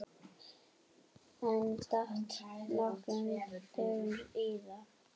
En datt nokkuð Dagur íða?